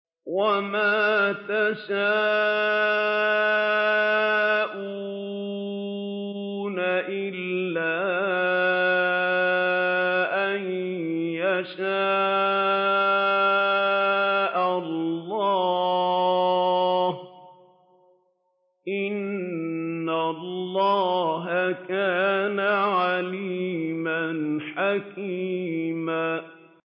وَمَا تَشَاءُونَ إِلَّا أَن يَشَاءَ اللَّهُ ۚ إِنَّ اللَّهَ كَانَ عَلِيمًا حَكِيمًا